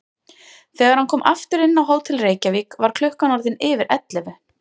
Þegar hann kom aftur inn á Hótel Reykjavík var klukkan orðin yfir ellefu.